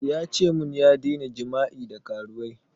Ya ce mun ya daina jima'i da karuwai